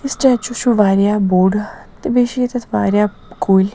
یہِ سِٹیچوٗ .چُھ واریاہ بوٚڑتہٕ بیٚیہِ چھ ییٚتٮ۪تھ واریاہ کُلۍ